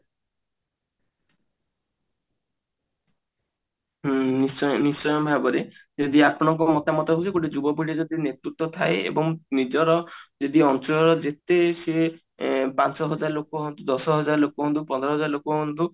ଉଁ ନିଶ୍ଚୟ ନିଶ୍ଚୟ ଭାବରେ ଯଦି ଆପଣଙ୍କ ମତାମତ ହଉଛି ଗୋଟେ ଯୁବପିଢି ନେତୃତ୍ଵ ଥାଏ ଏବଂ ନିଜର ଅଞ୍ଚଳର ଯେତେ ସିଏ ଅ ପାଞ୍ଚ ହଜାର ଲୋକ ହୁଅନ୍ତୁ ଦଶ ହଜାର ଲୋକ ହୁଅନ୍ତୁ ପନ୍ଦର ହଜାର ଲୋକ ହୁଅନ୍ତୁ